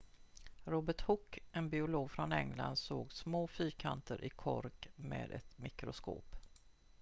robert hooke en biolog från england såg små fyrkanter i kork med ett mikroskop